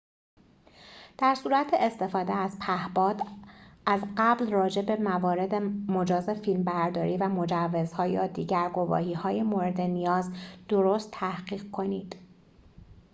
در صورت استفاده از پهباد از قبل راجع به موارد مجاز فیلم‌برداری و مجوزها یا دیگر گواهی‌های مورد نیاز درست تحقیق کنید